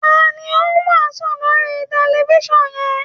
Ta ni ó ń wàásù lórí tẹlifiṣàn yẹn?